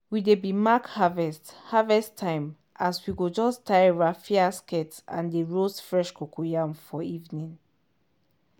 we dey b mark harvest harvest timeas we go just tie raffia skirt and dey roast fresh cocoyam for evening.